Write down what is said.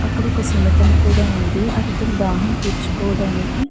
అక్కడ ఒక శునకం కూడా వుంది అది దాని దాహం తీర్చుకొడానికి --